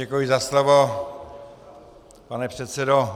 Děkuji za slovo, pane předsedo.